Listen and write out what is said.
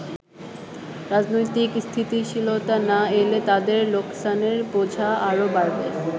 রাজনৈতিক স্থিতিশীলতা না এলে তাদের লোকসানের বোঝা আরো বাড়বে।